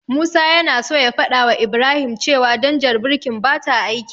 Musa yana so ya fadawa Ibrahim cewa danjar birkin bata aiki.